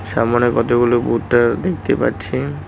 সামোনে কতগুলো ভুট্টা দেখতে পাচ্ছি।